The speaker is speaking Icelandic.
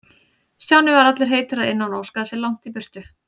Stjáni var allur heitur að innan og óskaði sér langt í burtu.